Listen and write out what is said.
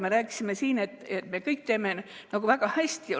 Me rääkisime siin, et me teeme kõike väga hästi.